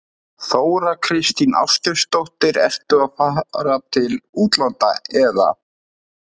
Þóra Kristín Ásgeirsdóttir: Ertu að fara til útlanda, eða?